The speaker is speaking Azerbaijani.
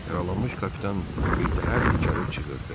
Yaralanmış kapitan birtəhər dikəlib çığırdı: